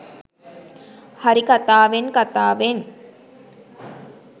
හරි කතාවෙන් කතාවෙන්